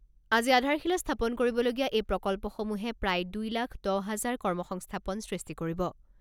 আজি আধাৰশিলা স্থাপন কৰিবলগীয়া এই প্ৰকল্পসমূহে প্ৰায় দুই লাখ দহ হাজাৰ কৰ্ম সংস্থাপন সৃষ্টি কৰিব।